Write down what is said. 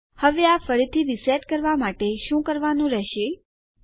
હવે આ ફરીથી રીસેટ કરવા માટે તમારે શું કરવાનું રહેશે આહ